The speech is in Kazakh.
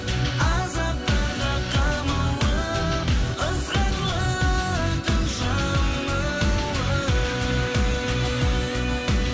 азаптарға қамалып ызғарлы түн жамылып